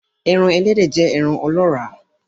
Eran Ẹlẹ́dẹ̀ jẹ́ ẹran ọlọ́ọ́rà